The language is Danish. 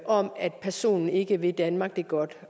om at personen ikke vil danmark det godt